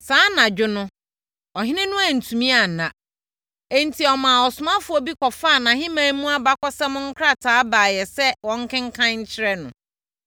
Saa anadwo no, ɔhene no antumi anna, enti ɔmaa ɔsomfoɔ bi kɔfaa nʼahemman mu abakɔsɛm nkrataa baeɛ sɛ wɔnkenkan nkyerɛ no.